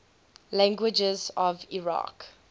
languages of iraq